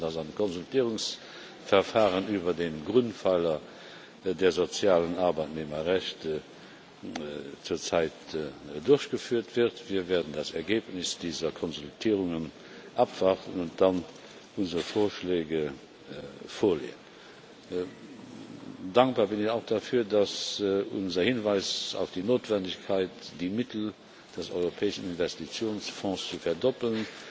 Sie wissen, was an Konsultationsverfahren über den Grundpfeiler der sozialen Arbeitnehmerrechte zurzeit durchgeführt wird. Wir werden das Ergebnis dieser Konsultationen abwarten und dann unsere Vorschläge vorlegen. Dankbar bin ich auch dafür, dass unser Hinweis auf die Notwendigkeit, die Mittel des Europäischen Investitionsfonds zu verdoppeln,